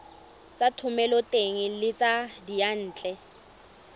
tsa thomeloteng le tsa diyantle